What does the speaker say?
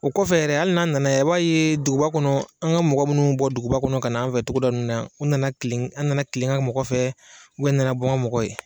O kɔfɛ yɛrɛ ali n'a nana yan i b'a ye duguba kɔnɔ an ka mɔgɔ minnu bi bɔ duguba kɔnɔ ka na an fɛ togoda ninnu na yan u nana an nana tile an nana kile an ka mɔgɔ fɛ n nana bɔ an ka mɔgɔ ye.